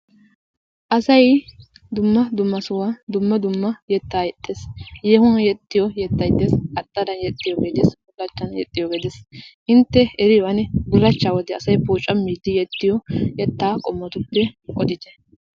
Asay dumma dumma sohuwa dumma dumma yettaa yexxees. Yeehuwan yexxiyo yettay dees qaxxaran yexxiyogee de'ees, bullaachchan yexxiyoge de'ees intte eriyo ane bullachcha wode asay pooccammiidi yexxiyo yettaa qommotuppe oddite.